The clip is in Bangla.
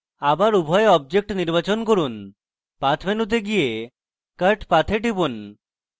আবার উভয় objects নির্বাচন করুন path মেনুতে যান এবং cut path এ টিপুন